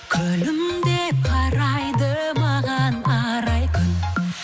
күлімдеп қарайды маған арай күн